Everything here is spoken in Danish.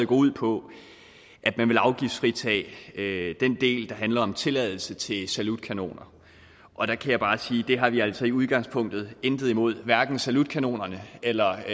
går ud på at man vil afgiftsfritage den del der handler om tilladelse til salutkanoner og der kan jeg bare sige at det har vi altså i udgangspunktet intet imod hverken salutkanonerne eller